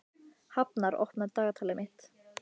Hafnar, opnaðu dagatalið mitt.